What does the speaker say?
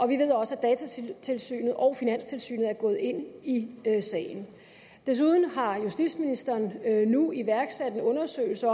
vi ved også at datatilsynet og finanstilsynet er gået ind i sagen desuden har justitsministeren nu iværksat en undersøgelse